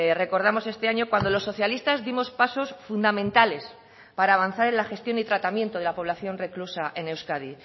recordamos este año cuando los socialistas dimos pasos fundamentales para avanzar en la gestión y tratamiento de la población reclusa en euskadi